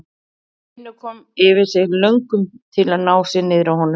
Finnur koma yfir sig löngun til að ná sér niðri á honum.